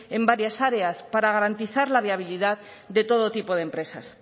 en varias áreas para garantizar la viabilidad de todo tipo de empresas